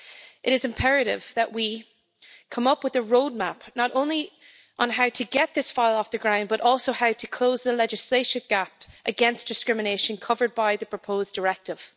It is imperative that we come up with a roadmap, not only on how to get this file off the ground, but also on how to close the legislative gap against discrimination covered by the proposed directive.